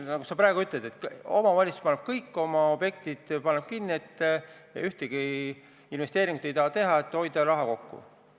Nagu sa praegu ütled, et omavalitsus paneb kõik oma objektid kinni, ühtegi investeeringut ei taha teha, et hoida raha kokku.